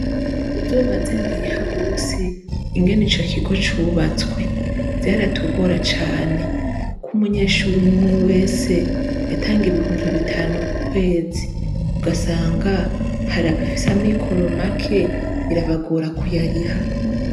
Uzobaze Ntihabose ingene ico kigo cubatswe, vyaratugora cane, kuk'umunyeshure umwumwe wese, yatanga Ibihumbi Bitanu kukwezi ugasanga hari abafise Amikoro make bikabagora kuyariha.